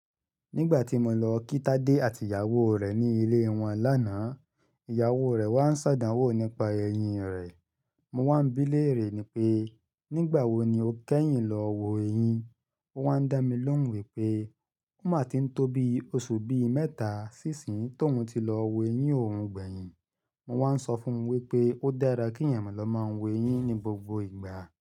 Nígbà tí mo lọ kí Tade àti ìyàwó rẹ̀ ní ilé wọn lánàá, ìyàwó rẹ̀ wá ń ṣadánwò nípa eyín rẹ̀. Mo wá ń bí léèrè ni pé, nígbà wo ni o kẹ́yìn lọ wo eyín? Ó wá ń dá mi lóhùn wípé, ó máa tí ń tó bí oṣù bí mẹ́ta sí ìsín tóun ti lọ wo eyín òun gbẹ̀yìn. Mo wá ń sọ fún wípé, ó dára kí ẹ̀eyàn ma lọ máa wo eyín ní gbogbo ìgbà.